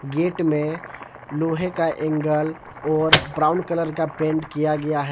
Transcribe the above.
Gate में लोहे का एंगल और ब्राउन कलर का पेंट किया गया है।